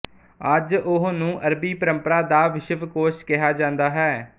ਅੱਜ ਉਹ ਨੂੰ ਅਰਬੀ ਪਰੰਪਰਾ ਦਾ ਵਿਸ਼ਵਕੋਸ਼ ਕਿਹਾ ਜਾਂਦਾ ਹੈ